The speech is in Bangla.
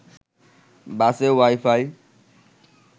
বাসে ওয়াই-ফাই